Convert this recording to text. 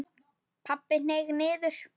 Pabbi hneig niður.